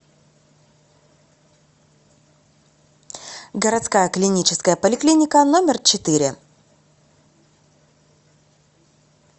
городская клиническая поликлиника номер четыре